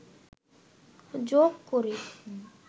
যোগ করে